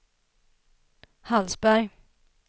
Hallsberg